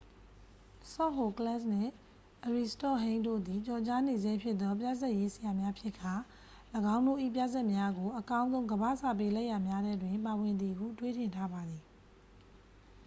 ဆော့ဟိုကလက်စ် နှင့် အရီစတော့ပ်ဟိန်းစ် တို့သည် ကျော်ကြားနေဆဲဖြစ်သော ပြဇာတ်ရေးဆရာများဖြစ်ကာ ၎င်းတို့၏ပြဇာတ်များကို အကောင်းဆုံးကမ္ဘာ့စာပေလက်ရာများထဲတွင် ပါဝင်သည်ဟု တွေးထင်ထားပါသည်